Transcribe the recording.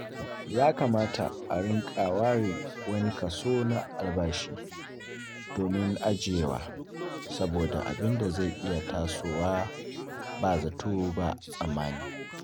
Ya kamata a rinƙa ware wani kaso na albashi domin ajiyewa saboda abin zai iya tasowa ba zato ba tsammani.